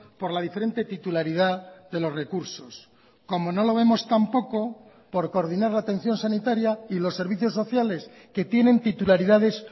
por la diferente titularidad de los recursos como no lo vemos tampoco por coordinar la atención sanitaria y los servicios sociales que tienen titularidades